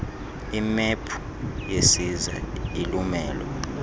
imephu yesiza ilumelo